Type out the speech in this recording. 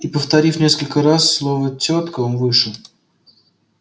и повторив несколько раз слово тётка он вышел